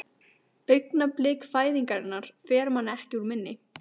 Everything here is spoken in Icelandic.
Augnablik fæðingarinnar fer manni ekki úr minni.